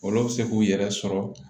Olu bɛ se k'u yɛrɛ sɔrɔ